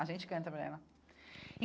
A gente canta para ela e.